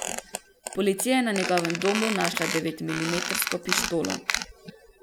Policija je na njegovem domu našla devetmilimetrsko pištolo.